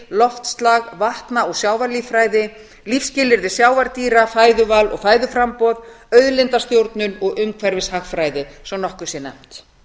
loftslag vatna og sjávarlíffræði lífsskilyrði sjávardýra fæðuval og fæðuframboð auðlindastjórnun og umhverfishagfræði svo nokkuð sé nefnt